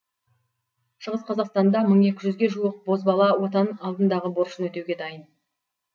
шығыс қазақстанда мың екі жүзге жуық бозбала отан алдындағы борышын өтеуге дайын